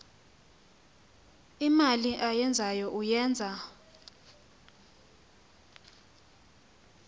imali ayenzayo uyenza